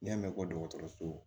N'i y'a mɛn ko dɔgɔtɔrɔso